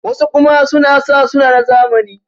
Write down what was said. wasu kuma suna sa suna na zamani